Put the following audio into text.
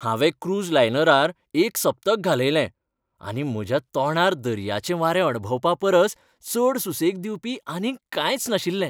हांवें क्रूझ लायनरार एक सप्तक घालयलें, आनी म्हज्या तोंडार दर्याचें वारें अणभवपापरस चड सुसेग दिवपी आनीक कांयच नाशिल्लें.